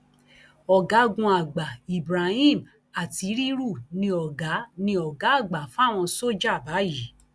ọgágunàgbà ibrahim atttiriru ni ọgá ni ọgá àgbà fáwọn sójà báyìí